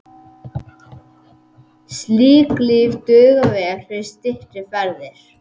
Slík lyf duga vel fyrir styttri ferðir.